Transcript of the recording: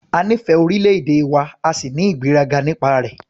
A nífẹ̀ẹ́ orílẹ̀-èdè wa a sì ní ìgbéraga nípa rẹ̀.